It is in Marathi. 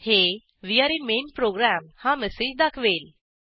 हे वे आरे इन मेन प्रोग्राम हा मेसेज दाखवेल